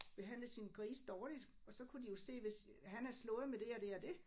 Behandlet sine grise dårligt og så kunne de jo se hvis han havde slået med det og det og det